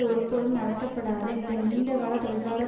ஒருபோதும் நடத்தப்படாத இந்த நீண்டகால தொழிலாளர்